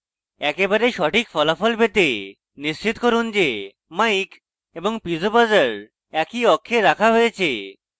একেবারে সঠিক ফলাফল পেতে নিশ্চিত করুন যে mic এবং piezo buzzer একই অক্ষে রাখা হয়েছে